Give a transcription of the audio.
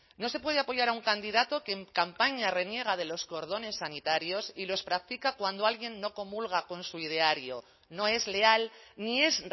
no se puede apoyar a un candidato que en campaña reniega de los cordones sanitarios y los practica cuando alguien no comulga con su ideario no es leal ni es